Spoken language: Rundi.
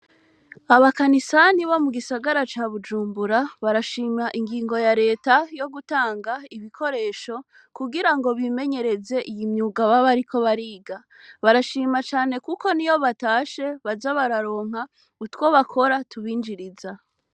Abakanisani bo mugisagara ca Bujumbura barashima ingingo ya reta yo gutanga ibikoresho kugirango bimenyereze iyi myuga baba bariko bariga barashima cane kuko niyo batashe baza bararonka utwo bakora tubinjiriza.